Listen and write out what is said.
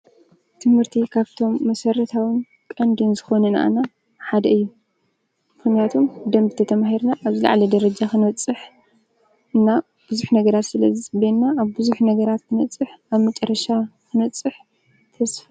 ትምህርቲ ካብቶም መሰረታዊን ቀንዲ ዝኮነ ንኣና ሓደ እዩ፡፡ ምክንያቱ ብደንቢ እንተተማሂርና ኣብ ዝለዓለ ደረጃ ክንበፅሕ እና ቡዙሕ ነገራት ስለ ዝፅበየና ናብ ቡዙሕ ነገር ክንበፅሕ መጨረሻ ክንበፅሕ